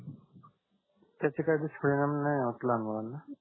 त्याचे काही दुष्परिणाम नाही होत लहान मुलांना